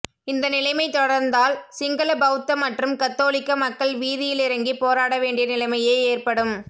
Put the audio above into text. இந்த நிலைமை தொடர்ந்தால் சிங்கள பௌத்த மற்றும் கத்தோலிக்க மக்கள் வீதியிலிறங்கிப் போராட வேண்டிய நிலைமையே ஏற்படும்